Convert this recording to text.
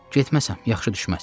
Getməsəm yaxşı düşməz.